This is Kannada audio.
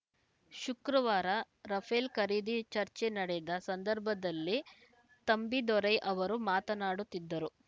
ಶುಕ್ರವಾರ ರಫೇಲ್‌ ಖರೀದಿ ಚರ್ಚೆ ನಡೆದ ಸಂದರ್ಭದಲ್ಲಿ ತಂಬಿದೊರೈ ಅವರು ಮಾತನಾಡುತ್ತಿದ್ದರು